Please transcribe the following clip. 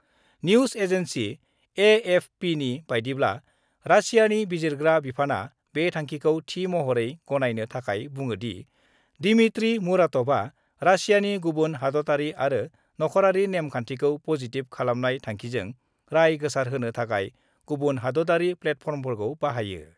News agency एएफपिनि बायदिब्ला, रासियानि बिजिरग्रा बिफानआ बे थांखिखौ थि महरै गनायनो थाखाय बुङोदि, दिमित्री मुराटभआ रासियानि गुबुन हादतयारि आरो नख'रारि नेम-खान्थिखौ पजिटिभ खालामनाय थांखिजों राय गोसारहोनो थाखाय गुबुन हादतयारि प्लेटफर्मफोरखौ बाहायो।